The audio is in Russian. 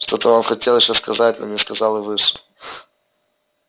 что-то он хотел ещё сказать но не сказал и вышел